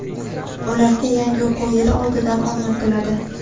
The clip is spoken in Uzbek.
ularga yangi o‘quv yili oldidan omad tiladi.